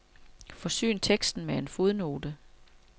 Forsyn teksten med en fodnote.